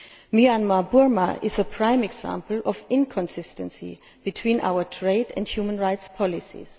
Myanmar Burma is a prime example of inconsistency between our trade and human rights policies.